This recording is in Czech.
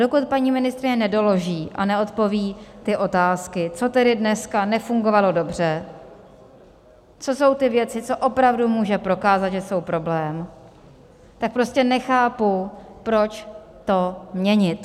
Dokud paní ministryně nedoloží a neodpoví ty otázky, co tedy dneska nefungovalo dobře, co jsou ty věci, co opravdu může prokázat, že jsou problém, tak prostě nechápu, proč to měnit.